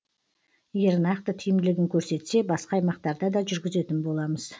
егер нақты тиімділігін көрсетсе басқа аймақтарда да жүргізетін боламыз